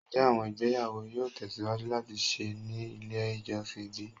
Njẹ awọn igbeyawo yoo tẹsiwaju lati ṣe ni ile ijọsin bi?